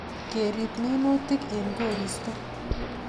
Kerip minutik eng koristo